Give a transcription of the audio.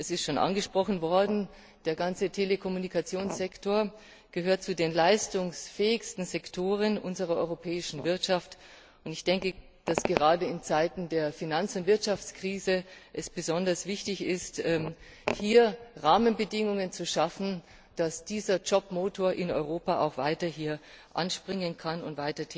Es ist schon angesprochen worden Der ganze Telekommunikationssektor gehört zu den leistungsfähigsten Sektoren unserer europäischen Wirtschaft, und gerade in Zeiten der Finanz und Wirtschaftskrise ist es besonders wichtig, hier Rahmenbedingungen zu schaffen, damit dieser Jobmotor in Europa weiterhin anspringen und